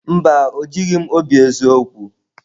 Mba, o jighị m obi eziokwu.